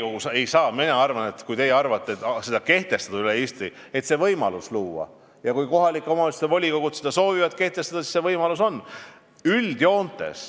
Kui te arvate, et Riigikogu ei saa seda kehtestada üle Eesti, siis mina arvan, et tuleks luua võimalus, et kui kohalike omavalitsuste volikogud seda soovivad kehtestada, siis see oleks võimalik.